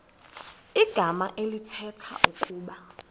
igama elithetha ukuba